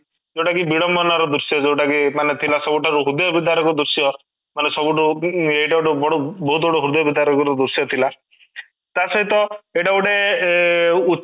ଯୋଉଟା କି ବିଡମ୍ବନା ର ଦୃଶ୍ୟ ଯୋଉଟା କି ମାନେ ଥିଲା ସବୁଠାରୁ ହୃଦୟ ବିତାରକ ଦୃଶ୍ୟ ମାନେ ସବୁଠୁ ଉଁ ଉଁ ମାନେ ଏଇଟା ଗୋଟେ ସବୁଠୁ ବହୁତ ବଡ ହୃଦୟ ବିତାରକ ଦୃଶ୍ୟ ଥିଲା ତା ସହିତ ଏଇଟା ଗୋଟେ ଉ